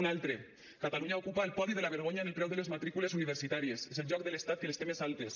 un altre catalunya ocupa el podi de la vergonya en el preu de les matrícules universitàries és el lloc de l’estat que les té més altes